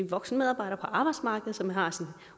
voksen medarbejder på arbejdsmarkedet som har sin